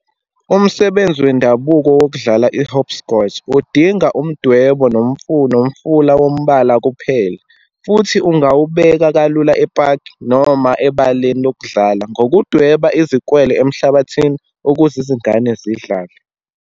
Umsebenzi wendabuko wokudlala i-hopscotch udinga umdwebo nomfula wombala kuphele, futhi ungawubeka kalula epaki, noma ebaleni lokudlala, ngokudweba izikwele emhlabathini ukuze izingane zidlale.